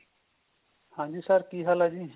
ਹਾਂਜੀ sir ਕੀ ਹਾਲ ਏ ਜੀ